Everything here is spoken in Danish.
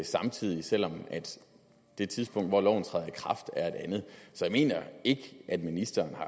samtidig selv om det tidspunkt hvor loven træder i kraft er et andet så jeg mener ikke at ministeren er